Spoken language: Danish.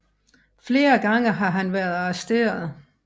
Flere gange har han været arresteret